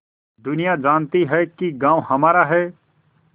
दुनिया जानती है कि गॉँव हमारा है